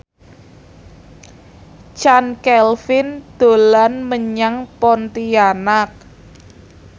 Chand Kelvin dolan menyang Pontianak